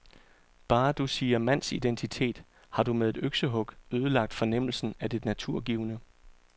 Bare du siger mandsidentitet, har du med et øksehug ødelagt fornemmelsen af det naturgivne.